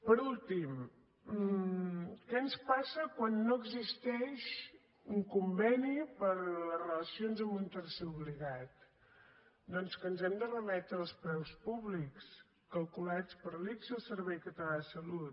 per últim què ens passa quan no existeix un conveni per a les relacions amb un tercer obligat doncs que ens hem de remetre als preus públics calculats per l’ics i el servei català de la salut